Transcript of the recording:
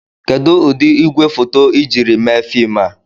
Kedu ụdị igwefoto ị jiri mee fim a?